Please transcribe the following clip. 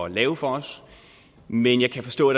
at lave for os men jeg kan forstå